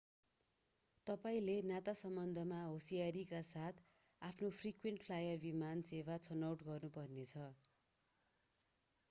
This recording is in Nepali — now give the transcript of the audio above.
तपाईंले नाता सम्बन्धमा होशियारीका साथ आफ्नो फ्रिक्वेन्ट फ्लायर विमान सेवा छनौट गर्नुपर्नेछ